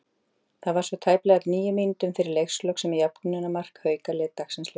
Það var svo tæplega tíu mínútum fyrir leikslok sem jöfnunarmark Hauka leit dagsins ljós.